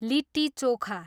litti chokha